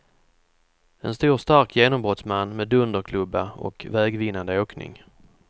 En stor stark genombrottsman med dunderklubba och vägvinnande åkning.